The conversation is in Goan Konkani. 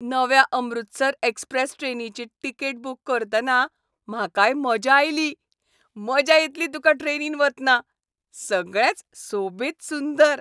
नव्या 'अमृतसर एक्स्प्रॅस" ट्रेनीची तिकेट बूक करतना म्हाकाय मजा आयली. मजा येतली तुका ट्रेनीन वतना. सगळेंच सोबीत सुंदर.